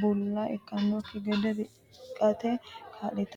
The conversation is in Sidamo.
bulla ikkannokki gede riqqate kaa'litanno.